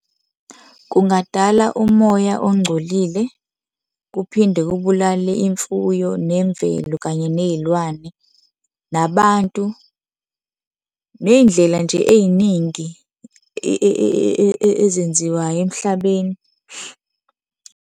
Kungadala umoya ongcolile, kuphinde kubulale imfuyo, nemvelo kanye ney'lwane, nabantu, ney'ndlela nje ey'ningi ezenziwayo emhlabeni.